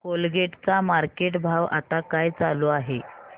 Colgate चा market भाव आता काय चालू आहे